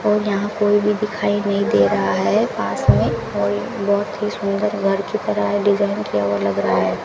और यहां कोई भी दिखाई नहीं दे रहा है पास में और एक बहोत ही सुंदर घर की तरह डिजाइन किया हुआ लग रहा है।